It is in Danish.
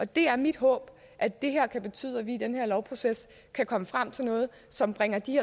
det er mit håb at det her kan betyde at vi i den her lovproces kan komme frem til noget som bringer de